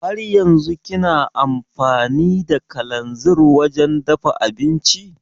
Haryanzun kina amfani da kalanzir wajen dafa abinci?